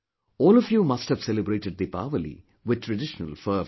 All of you must have celebrated Deepawali with traditional fervour